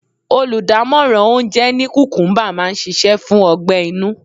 Oludamoran oúnjẹ ní kukumuba máa ń ṣíṣe fún ọgbẹ-inú.